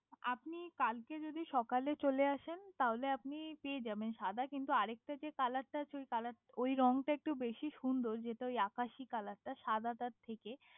আপনি কালকে যদি সকালে চলে আসেন তাহলে আপনি পেয়ে যাবেন সাদা কিন্তু আর একটা যে কালার টা আছে ওই রংটা একটু বেশি সুন্দর যেটা ওই আকাশি কালারটা সাদাটা থেকে